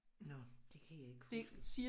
Nåh det kan jeg ikke huske